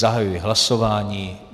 Zahajuji hlasování.